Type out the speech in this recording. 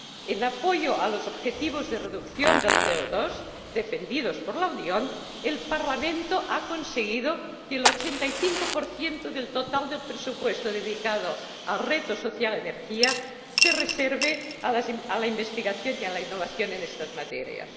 En apoyo a los objetivos de reducción del CO 2 defendidos por la Unión, el Parlamento ha conseguido que el 85 del total del presupuesto dedicado al reto social Energía se reserve a la investigación y la innovación en estas materias.